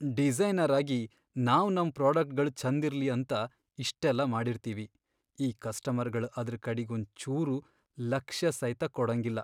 Designer ಆಗಿ ನಾವ್ ನಮ್ ಪ್ರೋಡಕ್ಟ್ಗಳ್ ಛಂದಿರ್ಲಿ ಅಂತ ಇಷ್ಟೆಲ್ಲಾ ಮಾಡಿರ್ತೀವಿ, ಈ ಕಸ್ಟಮರ್ಗಳ್ ಅದ್ರ ಕಡಿಗ್ ಒಂಚೂರ್ ಲಕ್ಷ್ಯಸೈತ ಕೊಡಂಗಿಲ್ಲ.